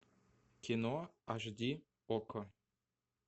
кино аш ди окко